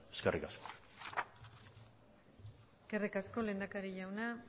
eskerrik asko eskerrik asko lehendakari jauna